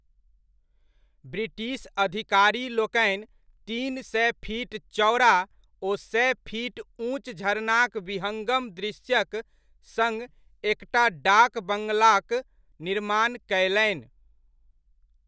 British अधिकारीलोकनि तीन सय फीट चौड़ा ओ सय फीट ऊँच झरनाक विहङ्गम दृश्यक सङ्ग एकटा डाक बङ्गलाक निर्माण कयलनि।